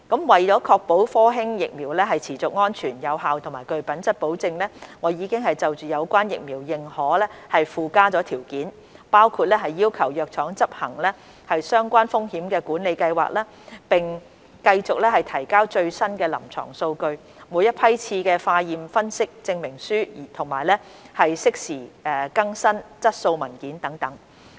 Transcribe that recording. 為確保科興疫苗持續安全、有效及具品質保證，我已就有關的疫苗認可附加條件，包括要求藥廠執行相關的風險管理計劃，並繼續提交最新的臨床數據、每一批次的化驗分析證明書，以及適時更新質素文件等。